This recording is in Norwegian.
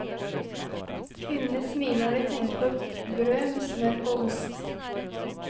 Kvinnene smiler når de tenker på brød med smør og ost.